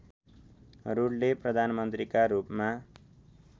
रूडले प्रधानमन्त्रीका रूपमा